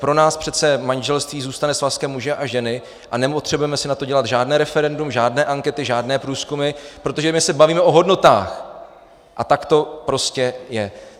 Pro nás přece manželství zůstane svazkem muže a ženy a nepotřebujeme si na to dělat žádné referendum, žádné ankety, žádné průzkumy, protože my se bavíme o hodnotách, a tak to prostě je.